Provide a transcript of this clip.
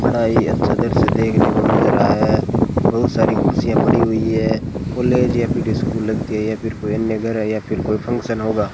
बड़ा ही अच्छा दृश्य देखने को मिल रहा है बहुत सारी कुर्सियां पड़ी हुई है कॉलेज या फिर स्कूल लगती है या फिर कोई अन्य घर है या फिर कोई फंक्शन होगा।